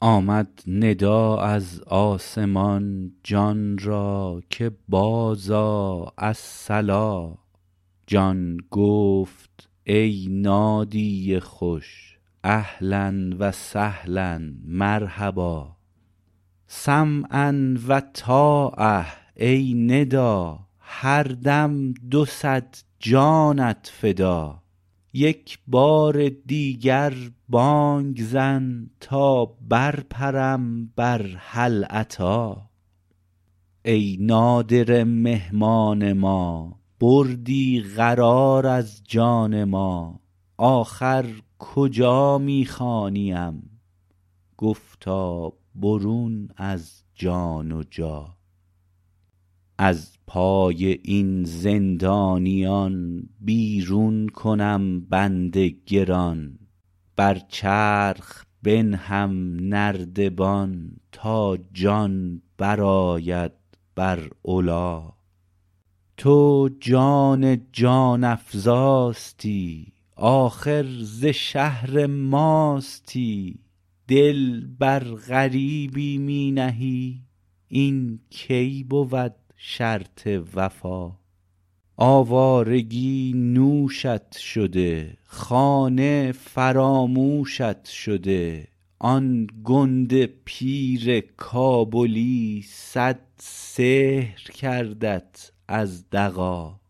آمد ندا از آسمان جان را که بازآ الصلا جان گفت ای نادی خوش اهلا و سهلا مرحبا سمعا و طاعه ای ندا هر دم دو صد جانت فدا یک بار دیگر بانگ زن تا برپرم بر هل اتی ای نادره مهمان ما بردی قرار از جان ما آخر کجا می خوانیم گفتا برون از جان و جا از پای این زندانیان بیرون کنم بند گران بر چرخ بنهم نردبان تا جان برآید بر علا تو جان جان افزاستی آخر ز شهر ماستی دل بر غریبی می نهی این کی بود شرط وفا آوارگی نوشت شده خانه فراموشت شده آن گنده پیر کابلی صد سحر کردت از دغا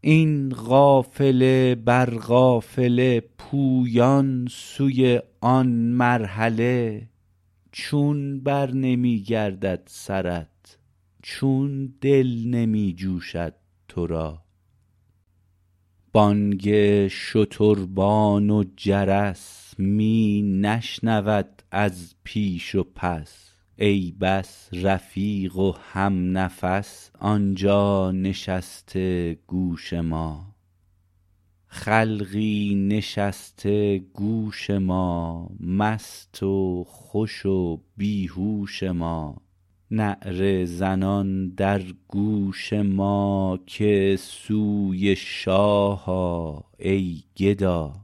این قافله بر قافله پویان سوی آن مرحله چون برنمی گردد سرت چون دل نمی جوشد تو را بانگ شتربان و جرس می نشنود از پیش و پس ای بس رفیق و همنفس آن جا نشسته گوش ما خلقی نشسته گوش ما مست و خوش و بی هوش ما نعره زنان در گوش ما که سوی شاه آ ای گدا